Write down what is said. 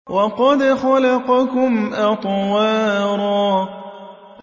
وَقَدْ خَلَقَكُمْ أَطْوَارًا